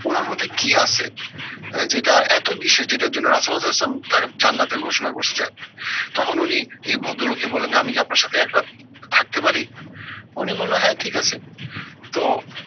উনার মধ্যে কি আছে? আহ যেটা এত বিশেষ যেটার জন্য তাকে জান্নাতি ঘোষণা করছে। তখন উনি এই ভদ্রলোককে বললেন যে আমি কি আপনার সাথে এক রাত থাকতে পারি? উনি বললো হ্যাঁ ঠিক আছে। তো